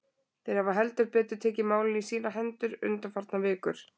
Þeir hafa heldur betur tekið málin í sínar hendur undanfarnar vikur.